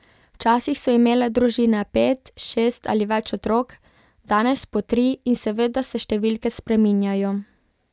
Včasih so imele družine pet, šest ali več otrok, danes po tri in seveda se številke spreminjajo.